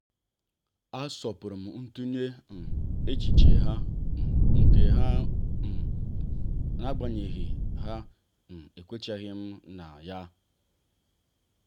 a asọpụrụm ntunye um echiche nke ha um n'agbanyeghị na ekwenyechaghim na ya.